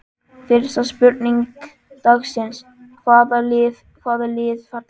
Fyrsta spurning dagsins: Hvaða lið falla?